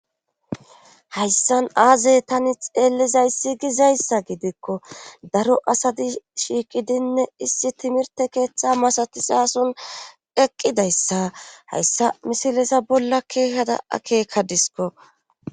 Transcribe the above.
hayssan aazey tani xeellizayssi gizayssa gidikko daro asadi shiiqidinne issi timirte keeththa masatizason eqqidayssa hayssa misilesa bolla keehada akeeka disko